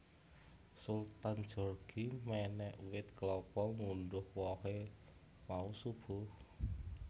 Sultan Djorghi menek wit kelapa ngundhuh wohe mau subuh